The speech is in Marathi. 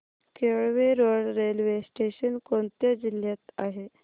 केळवे रोड रेल्वे स्टेशन कोणत्या जिल्ह्यात आहे